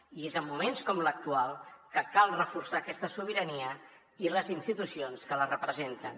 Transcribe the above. i és en moments com l’actual que cal reforçar aquesta sobirania i les institucions que la representen